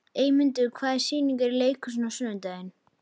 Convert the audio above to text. Eymundur, hvaða sýningar eru í leikhúsinu á sunnudaginn?